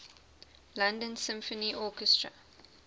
london symphony orchestra